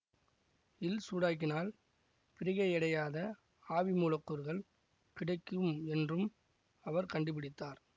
ல் சூடாக்கினால் பிரிகையடையாத ஆவி மூலக்கூறுகள் கிடைக்கும் என்றும் அவர் கண்டுபிடித்தார்